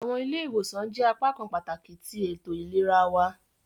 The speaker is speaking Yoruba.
Awọn ile-iwosan jẹ apakan pataki ti eto ilera wa.